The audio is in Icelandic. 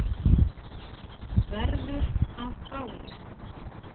Verður að báli.